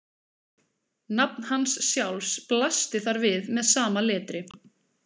Nafn hans sjálfs blasti þar við með sama letri.